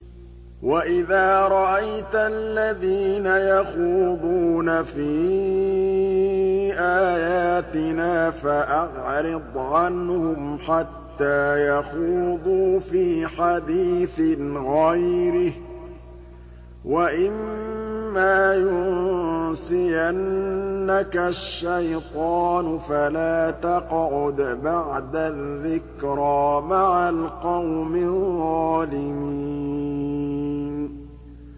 وَإِذَا رَأَيْتَ الَّذِينَ يَخُوضُونَ فِي آيَاتِنَا فَأَعْرِضْ عَنْهُمْ حَتَّىٰ يَخُوضُوا فِي حَدِيثٍ غَيْرِهِ ۚ وَإِمَّا يُنسِيَنَّكَ الشَّيْطَانُ فَلَا تَقْعُدْ بَعْدَ الذِّكْرَىٰ مَعَ الْقَوْمِ الظَّالِمِينَ